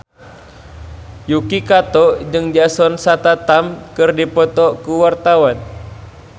Yuki Kato jeung Jason Statham keur dipoto ku wartawan